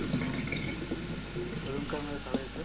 अजून काही मदत हवी आहे सर